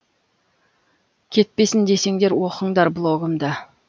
кетпесін десеңдер оқыңдар блогымды